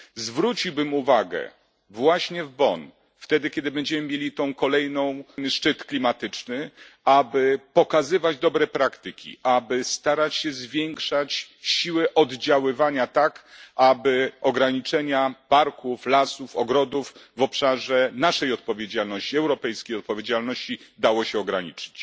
Zwróciłbym uwagę właśnie w Bonn, kiedy będziemy mieli ten kolejny szczyt klimatyczny, aby pokazywać dobre praktyki, aby starać się zwiększać siłę oddziaływania, tak aby ograniczenia parków, lasów, ogrodów w obszarze naszej odpowiedzialności, europejskiej odpowiedzialności, dało się ograniczyć.